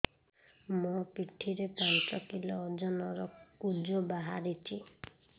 ମୋ ପିଠି ରେ ପାଞ୍ଚ କିଲୋ ଓଜନ ର କୁଜ ବାହାରିଛି